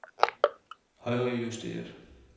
højrejusteret